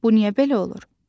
Bu niyə belə olur?